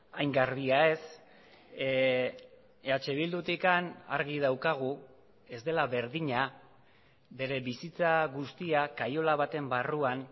hain garbia ez eh bildutik argi daukagu ez dela berdina bere bizitza guztia kaiola baten barruan